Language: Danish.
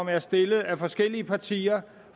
er stillet af forskellige partier